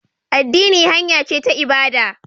Addini hanya ce ta ibada